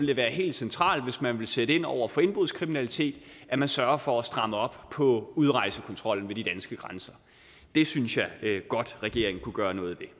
det være helt centralt hvis man vil sætte ind over for indbrudskriminalitet at man sørger for at stramme op på udrejsekontrollen ved de danske grænser det synes jeg godt regeringen kunne gøre noget ved